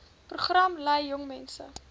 program lei jongmense